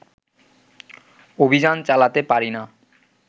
অভিযান চালাতে পারিনা